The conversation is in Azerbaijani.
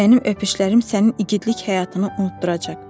Mənim öpüşlərim sənin igidlik həyatını unutduracaq.